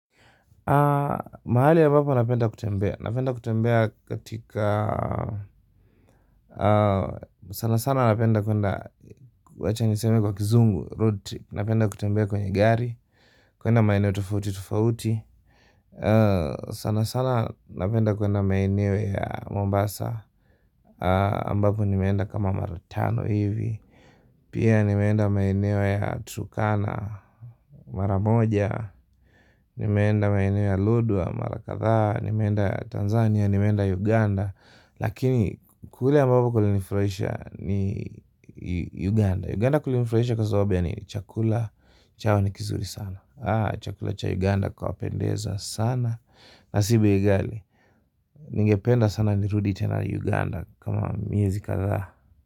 Mahali ambapo napenda kutembea. Napenda kutembea katika. Sana sana napenda kwenda wacha niseme kwa kizungu road trip. Napenda kutembea kwenye gari. Kuenda maeneo tofauti tofauti. Sana sana napenda kuenda mainiwe ya Mombasa ambapo nimeenda kama mara tano hivi. Pia nimeenda maeneo ya Turkana, mara moja, nimeenda maeneo ya Lodwar, mara kadhaa, nimeenda Tanzania, nimeenda Uganda. Lakini kule ambapo kulinifurahisha ni Uganda. Uganda kulinifurahisha kwa sababu ya nini chakula, chao ni kizuri sana. Chakula cha Uganda kwapendeza sana. Na si bei ghali, ningependa sana nirudi tena Uganda kama miezi kadhaa.